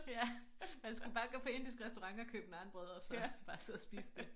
Ja man skulle bare gå på indisk restaurant og købe naanbrød og så bare sidde og spise det